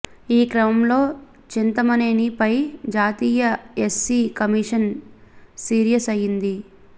ఈ క్రమంలో చింతమనేని పై జాతీయ ఎస్సీ కమీషన్ సీరియస్ అయ్యింది